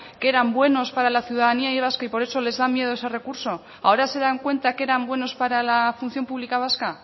que eran buenos para la ciudadanía vasca y por eso les da miedo ese recurso ahora se dan cuenta que eran buenos para la función pública vasca